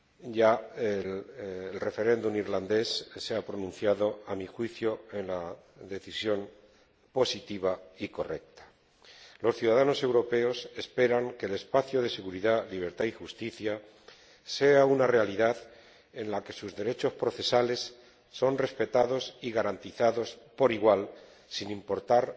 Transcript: Ya el pueblo irlandés se ha pronunciado mediante referéndum y, a mi juicio, lo ha hecho en la dirección positiva y correcta. Los ciudadanos europeos esperan que el espacio de seguridad, libertad y justicia sea una realidad en la que sus derechos procesales sean respetados y garantizados por igual, sin importar